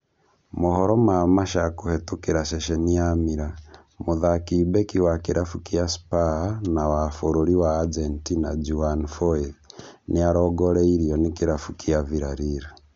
Mohoro ma Marca kũhetũkĩra ceceni ya Mirror, mũthaki Beki wa kĩrabu kĩa Spur na wa bũrũri wa Argentina Juan Foyth nĩarongoreirio nĩ kĩrabu kĩa Villareal